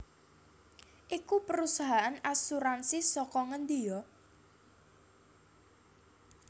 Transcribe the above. iku perusahaan asuransi saka ngendi yo?